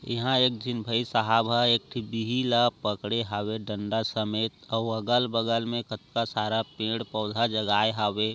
यहा एक जिन भई सहाब है इकठी बिहि ला पकड़े हवे डण्डा समेत अव अगल बगल मे कत्ना सारा पेड़ पोधा जगाए हवे।